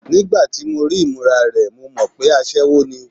Nígbà tí mo rí ìmúra rẹ̀, mo mọ̀ pé aṣẹwó ni.